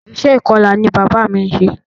Iṣẹ́ ìkọla ni bàbá mí ń ṣe.